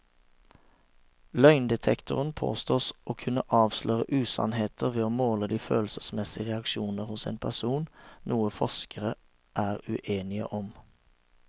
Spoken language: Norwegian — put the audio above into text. Løgndetektoren påstås å kunne avsløre usannheter ved å måle de følelsesmessige reaksjoner hos en person, noe forskerne er uenige om.